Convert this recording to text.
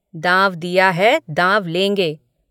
दाँव दिया है दाँव लेंगे।